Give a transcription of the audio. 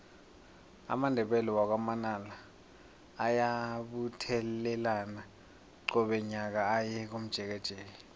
amandebele wakwa manala ayabuthelana qobe nyaka aye komjekejeke